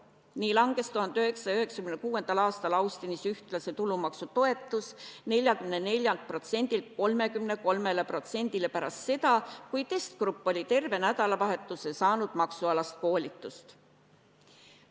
Nii langes 1996. aastal Austinis ühtlase tulumaksu toetus 44%-lt 33%-le pärast seda, kui testrühm oli terve nädalavahetuse saanud maksukoolitust.